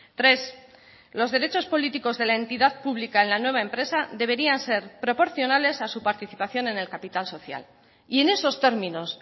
tres los derechos políticos de la entidad pública en la nueva empresa deberían ser proporcionales a su participación en el capital social y en esos términos